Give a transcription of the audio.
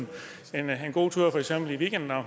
weekenden og